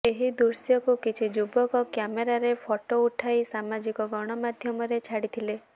ଏହି ଦୃଶ୍ୟକୁ କିଛି ଯୁବକ କ୍ୟାମେରାରେ ଫଟୋ ଉଠାଇ ସାମାଜିକ ଗଣମାଧ୍ୟମରେ ଛାଡିଥିଲେ